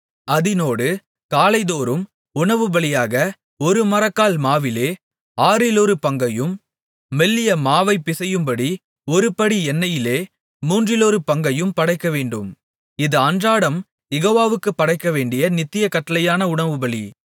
அதினோடு காலைதோறும் உணவுபலியாக ஒரு மரக்கால் மாவிலே ஆறிலொரு பங்கையும் மெல்லிய மாவைப் பிசையும்படி ஒருபடி எண்ணெயிலே மூன்றிலொரு பங்கையும் படைக்கவேண்டும் இது அன்றாடம் யெகோவாவுக்குப் படைக்கவேண்டிய நித்திய கட்டளையான உணவுபலி